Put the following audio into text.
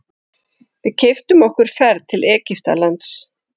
Við keyptum okkur ferð til Egyptalands.